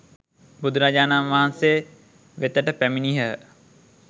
බුදුරජාණන් වහන්සේ වෙතට පැමිණියහ.